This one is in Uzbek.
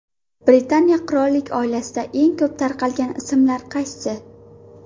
Britaniya qirollik oilasida eng ko‘p tarqalgan ismlar qaysi?